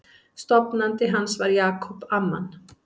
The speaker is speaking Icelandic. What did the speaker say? Stofnandi hans var Jacob Amman.